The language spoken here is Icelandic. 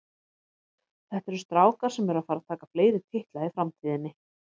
Þetta eru strákar sem eru að fara að taka fleiri titla í framtíðinni.